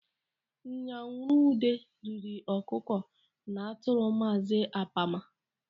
Nyanwuruede riri ọkụkọ na atụrụ Maazị Apama.